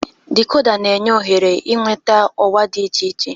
Dikoda na-enye ohere ịnweta ọwa dị iche iche.